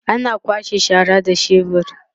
ana kwasha shara da shebur